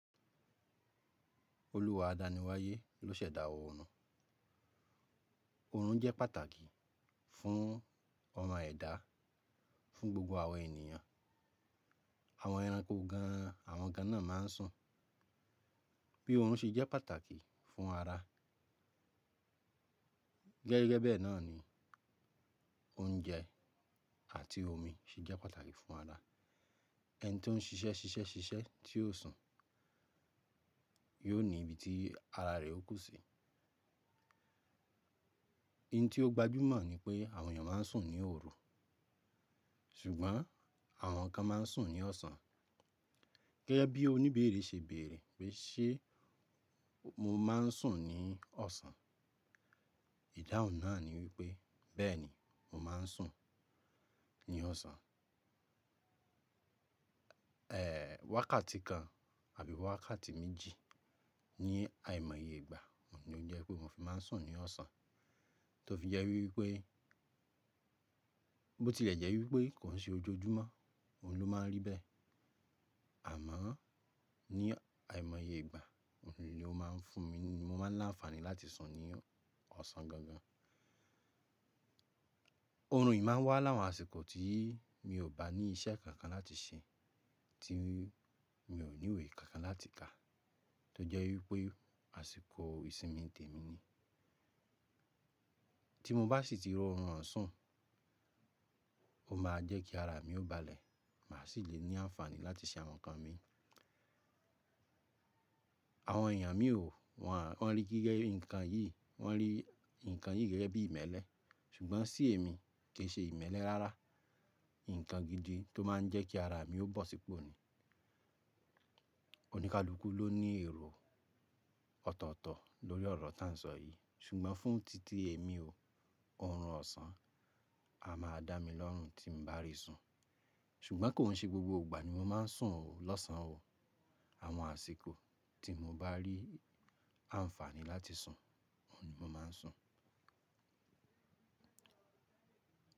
Olúwa àdáni wáyé ló sẹ̀dá oorun. Oorun jẹ́ pàtàkì fún ọmọ ẹ̀dá, fún gbogbo àwọn ènìyàn. Àwọn ẹranko gan an, àwọn gan náà má n sùn. Bí oorun ṣe jẹ́ pàtàkì fún ara, gẹ́gẹ́ bẹ́ẹ̀ náà ni oúnjẹ àti omi sì jẹ́ pàtàkì fún ara. Ẹni tó n ṣiṣẹ́ ṣiṣẹ́ ṣiṣẹ́ tí yóò sùn, yóò ní ibi tí ara rè ò kú sí. Iín tí ó gbajúmọ̀ ni pé àwọn èèyàn má n sùn ní òru, ṣùgbọ́n àwọn kan má n sùn ní ọ̀sán. Gẹ́gẹ́ bí oníbéèrè ṣe béèrè pé ṣé mo má n sùn ní ọ̀sán? Ìdáhùn náà ni wípé bẹ́ẹ̀ni mo má n sùn ní ọ̀sán. Eeh, wákàtí kan àbí wákàtí méjì ní àìmọye ìgbà ni ó jẹ́ pé mo fi má n sùn ní ọ̀sán. Tó fi jẹ́ wípé bó ti lè jẹ́ wípé kò i ṣe ojoojúmọ́, òun ló má rí bẹ́ẹ̀. Àmọ́ ní àìmọye ìgbà ni ó má n fún mi ní, mo má n lá ànfàní láti sùn ní ọ̀sán gan gan. Oorun yìí má n wà láwon àsìkò tí mi ò bá ní iṣẹ́ kankan láti ṣẹ, tí mi ò ní ìwé kankan láti kà, tó jẹ́ wípé àsìkò ìsinmi tèmi ni. Tí mo bá sì ti ro orun ọ̀hun sun, ó ma jẹ́ kí ara mi ó balẹ̀, mà sì lè ní ànfàní láti ṣe àwọn nǹkan mi. Àwọn èèyàn mi ò, wọ́n á, wọ́n rí gígẹ nǹkan yìí, wọ́n rí nǹkan yìí gẹ́gẹ́ bí ìmẹ́lẹ́. Ṣùgbọ́n sí èmi kì í ṣe ìmẹ́lẹ́ rárá, nǹkan gidi tó má n jẹ́ kí ara mi ó bọ̀ sípò ni. Oníkálukú ló ní èrò ọ̀tọ̀ọ̀tọ̀ lórí ọ̀rọ̀ tá n sọ yìí, ṣùgbọ́n fún títí èmi o, orun ọ̀sán a máa dá mi lọ́rùn tí n bá rí sùn. Ṣùgbọ́n kò i ṣe gbogbo ìgbà ni mo má n sùn o, lọ́sàn o, àwọn àsìkò tí mo bá rí ànfàní láti sùn, òun ni mo má n sùn.